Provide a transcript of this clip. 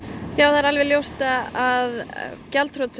það er alveg ljóst að gjaldþrot